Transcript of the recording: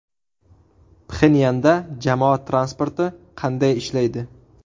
Pxenyanda jamoat transporti qanday ishlaydi?.